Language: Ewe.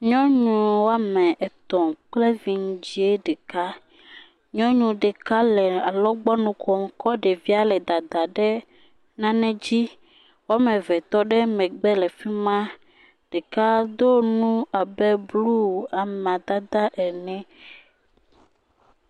Nyɔnu woame etɔ̃ kple vidzɛ̃ ɖeka, nyɔnu ɖeka le alɔgbɔnu kom kɔ ɖevia le dadam ɖe nane dzi, woame ve tɔ ɖe megbe fi ma, ɖeka do nu abe blu amadada ene.